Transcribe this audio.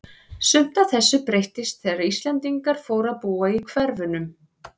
Sumt af þessu breyttist þegar Íslendingar fóru að búa í hverfunum.